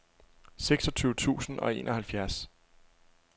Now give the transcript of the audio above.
seksogtyve tusind og enoghalvfjerds